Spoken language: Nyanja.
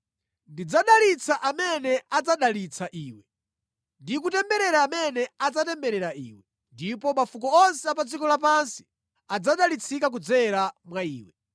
Ndidzadalitsa amene adzadalitsa iwe, ndi kutemberera amene adzatemberera iwe; ndipo mafuko onse a pa dziko lapansi adzadalitsika kudzera mwa iwe.”